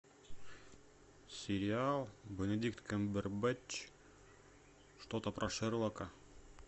сериал бенедикт камбербэтч что то про шерлока